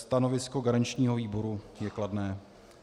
Stanovisko garančního výboru je kladné.